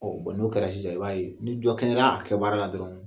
Ɔ bɔn n'o kɛra sisan i b'a ye ni jɔ kɛra a kɛ baara la dɔrɔn